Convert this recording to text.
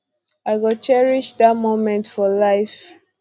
i go cherish dat um moment for life